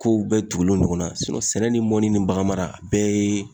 Kow bɛɛ tugulen ɲɔgɔn na sinɔn sɛnɛ ni mɔni ni bagan mara a bɛɛ yee